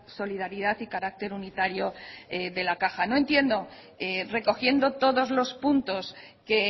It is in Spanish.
solidaridad y carácter unitario de la caja no entiendo recogiendo todos los puntos que